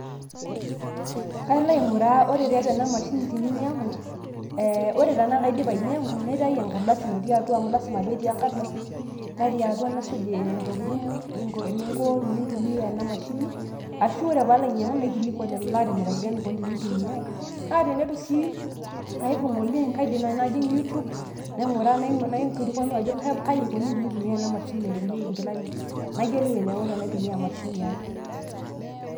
kalo ainguraa ore tiatua ena mashini tininyangu eeh ore tenaa kaidipa ainyangu naitayu enkardasi natii atua amu lasima petii enkardasi natii atua nasujie ntokitin eninko tenintumia ena mashini ashu ore palo ainyangu naikilikwan lelo laatimirakita enikoni tenitumiae naa tenitu sii, kaibung oleng ,kaidim nai najing you tube naiguraa naikilkwanu ajo kai ikoni tenitumiae ena mashini natukuyieki inkilani ,nayiolou enaiko tenaitumia emashini ai.